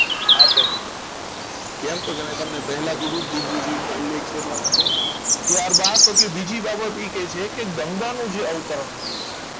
આ પહેલી બાબત કેમ તો તમને પહેલા કીધું કે દિગ્વિજયનો ઉલ્લેખ છે તેના માટે એટલા માટે ત્યારબાદ તો કે બીજી બાબત એ કહે છે કે ગંગાનો જે અવતરણ થુયુ છે